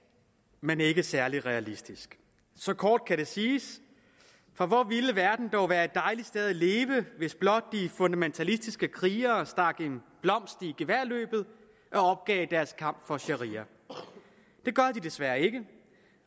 men ikke særlig realistisk så kort kan det siges for hvor ville verden dog være et dejligt sted at leve hvis blot de fundamentalistiske krigere stak en blomst i geværløbet og opgav deres kamp for sharia det gør de desværre ikke